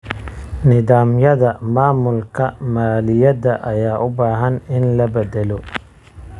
Nidaamyada maamulka maaliyadda ayaa u baahan in la beddelo.